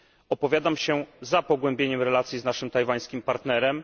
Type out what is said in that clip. Opowiadam się za pogłębieniem relacji z naszym tajwańskim partnerem.